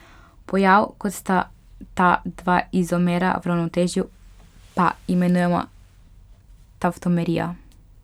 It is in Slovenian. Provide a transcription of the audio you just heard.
Pojav, ko sta ta dva izomera v ravnotežju, pa imenujemo tavtomerija.